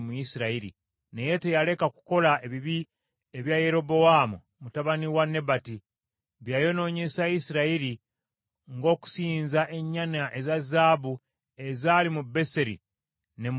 Naye teyaleka kukola ebibi ebya Yerobowaamu mutabani wa Nebati, bye yayonoonyesa Isirayiri, ng’okusinza ennyana eza zaabu ezaali mu Beseri ne mu Ddaani.